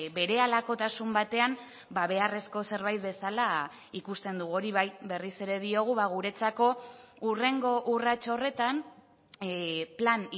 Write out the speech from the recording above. berehalakotasun batean beharrezko zerbait bezala ikusten dugu hori bai berriz ere diogu guretzako hurrengo urrats horretan plan